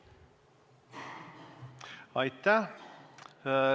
Aitäh!